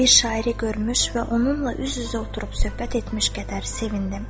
Bir şairi görmüş və onunla üz-üzə oturub söhbət etmiş qədər sevindim.